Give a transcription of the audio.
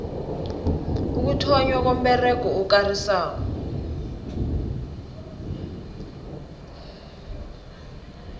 ukuthonnywa komberego okarisako